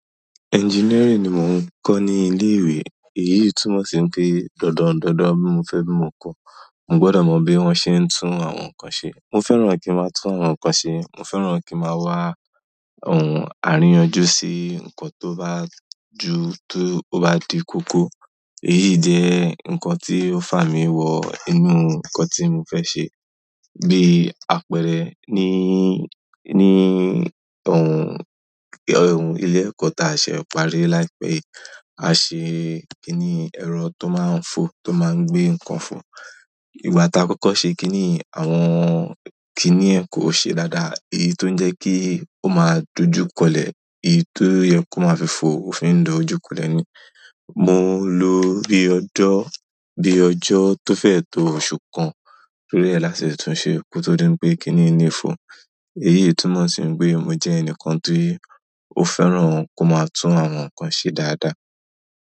Engineering ni mò ń kọ́ ní ilé ìwé. Èyí túnmọ̀ sí pé dandan, dandan mo fẹ́ bí mo kọ́. Mo gbọ́dọ̀ mọ bí wọ́n ṣe ń tún àwọn nǹkan ṣe. Mo fẹ́ràn kí máa tún àwọn nǹkan ṣe. Mo fẹ́ràn kí màá wá ohun àríyànjú sí nǹkan tó bá ju, tó bá di kókó. Èyí jẹ́ nǹkan tí ó fà mí wọ inú nǹkan tí mo fẹ́ ṣe. Bí apẹ̀rẹ̀ ní, ní ohun, ohun ilé ẹ̀kọ́ ta a ṣe ń parí láìpẹ́ yìí, a ṣe kíní ẹ̀rọ tó máa ń fọ, tó máa ń gbé nǹkan fọ. Ìgbà tá a kọ́kọ́ ṣe kíní yen, àwọn kíní yẹ̀n kò ṣe dáadáa. Èyí tó ń jẹ́ kí ó máa dojúkọlẹ̀. Èyí tó yẹ kó máa fi fọ òfin ń dojúkọlẹ̀ ni. Mo lò bí ọjọ́, bí ọjọ́ tó fẹ́ tó oṣù kan lórí e le tún ṣe ko tó dí n pé kíní yi le fọ. Èyí túnmọ̀ sí pé mo jẹ́ ẹnìkan tí ó fẹ́ràn kó máa tún àwọn nǹkan ṣe dáadáa.